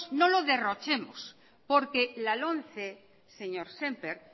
no lo derrochemos porque la lomce señor sémper